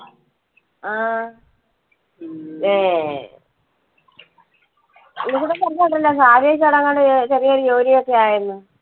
എങ്ങാണ്ടും ചെറിയൊരു ജോലി ഒക്കെ ആയെന്ന്.